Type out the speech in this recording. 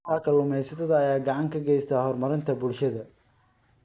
Kooxaha kalluumaysatada ayaa gacan ka geysta horumarinta bulshada.